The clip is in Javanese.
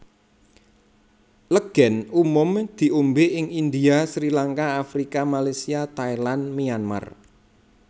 Legen umum diombe ing India Srilanka Afrika Malaysia Thailand Myanmar